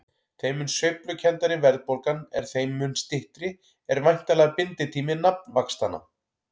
Þeim mun sveiflukenndari verðbólgan er þeim mun styttri er væntanlega binditími nafnvaxtanna.